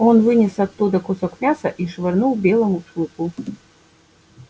он вынес оттуда кусок мяса и швырнул белому клыку